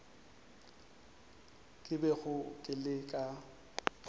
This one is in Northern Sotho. ke bego ke le ka